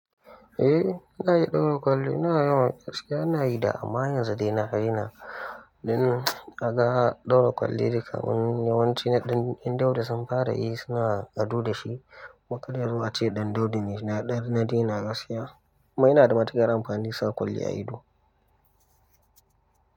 Eh na yi ɗaura kwali, na yi wa ƙashe, na yi da amma yanzu dai na hari na. Ɗin kaga ɗaura kwali, duka yawanci ɗan yan daudu sun fara yi suna ado da shi. Makaliyar ace ɗan daudu ne na ɗari na daina gaskiya. Kuma yina da matuƙar amfani sa kwali a ido.